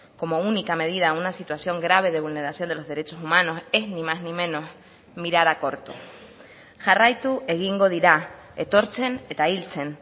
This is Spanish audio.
como única medida a una situación grave de vulneración de los derechos humanos es ni más ni menos mirar a corto jarraitu egingo dira etortzen eta hiltzen